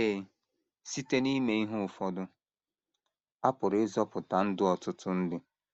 Ee, site n’ime ihe ụfọdụ, a pụrụ ịzọpụta ndụ ọtụtụ ndị.